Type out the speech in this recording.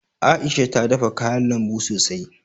A'isha ta dafa kayan lambun sosai.